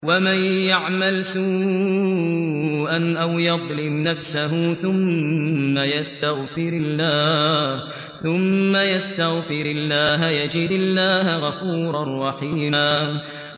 وَمَن يَعْمَلْ سُوءًا أَوْ يَظْلِمْ نَفْسَهُ ثُمَّ يَسْتَغْفِرِ اللَّهَ يَجِدِ اللَّهَ غَفُورًا رَّحِيمًا